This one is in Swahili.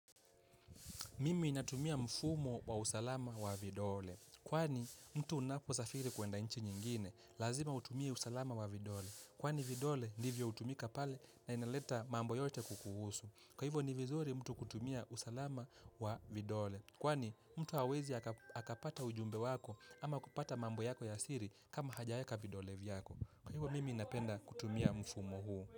Mimi inatumia mfumo wa usalama wa vidole. Kwani mtu unaposafiri kuenda nchi nyingine, lazima utumia usalama wa vidole. Kwani vidole nivyo utumika pale na inaleta mambo yote kukuhusu. Kwa hivyo ni vizuri mtu kutumia usalama wa vidole. Kwani mtu hawezi aka akapata ujumbe wako ama kupata mambo yako ya siri kama hajaeka vidole vyako. Kwa hivyo mimi napenda kutumia mfumo huu.